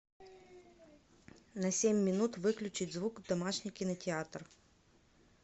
на семь минут выключить звук домашний кинотеатр